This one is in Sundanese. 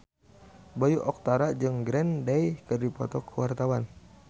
Bayu Octara jeung Green Day keur dipoto ku wartawan